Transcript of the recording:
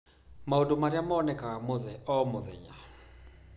Maũndũ marĩa monekaga o mũthenya